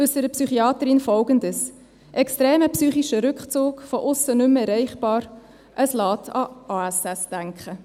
2018 äussert die Psychiaterin Folgendes: Extremer psychischer Rückzug, von aussen nicht mehr erreichbar, es lässt an ASS denken.